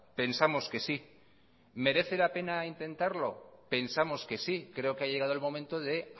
pensamos que sí merece la pena intentarlo pensamos que sí creo que ha llegado el momento de